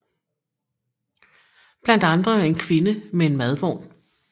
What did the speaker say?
Blandt andre en kvinde med en madvogn